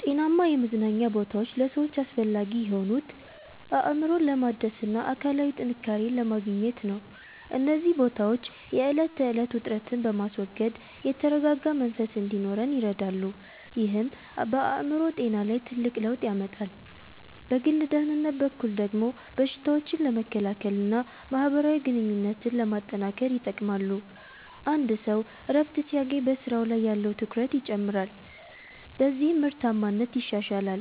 ጤናማ የመዝናኛ ቦታዎች ለሰዎች አስፈላጊ የሆኑት፣ አእምሮን ለማደስና አካላዊ ጥንካሬን ለማግኘት ነው። እነዚህ ቦታዎች የዕለት ተዕለት ውጥረትን በማስወገድ የተረጋጋ መንፈስ እንዲኖረን ይረዳሉ፤ ይህም በአእምሮ ጤና ላይ ትልቅ ለውጥ ያመጣል። በግል ደህንነት በኩል ደግሞ በሽታዎችን ለመከላከልና ማህበራዊ ግንኙነትን ለማጠናከር ይጠቅማሉ። አንድ ሰው እረፍት ሲያገኝ በስራው ላይ ያለው ትኩረት ይጨምራል፤ በዚህም ምርታማነት ይሻሻላል።